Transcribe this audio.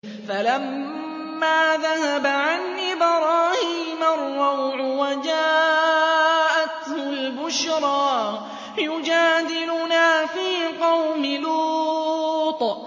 فَلَمَّا ذَهَبَ عَنْ إِبْرَاهِيمَ الرَّوْعُ وَجَاءَتْهُ الْبُشْرَىٰ يُجَادِلُنَا فِي قَوْمِ لُوطٍ